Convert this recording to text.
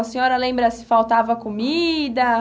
A senhora lembra se faltava comida?